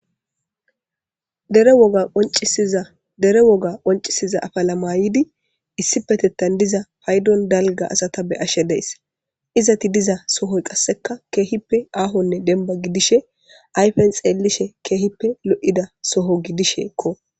dere woga qoncisiza afalamayidi issi petettan diza paydon dalga asata be ashshe deess izati diza sohoy qasseka keehippe aahonne denba gidishe ayfen xeellishe keehippe lo7ida soho gidisheekko